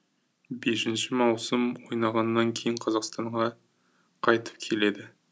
бесініш маусым ойнағаннан кейін қазақстанға қайтып келеді